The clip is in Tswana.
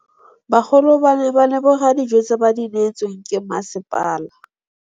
Bagolo ba ne ba leboga dijô tse ba do neêtswe ke masepala.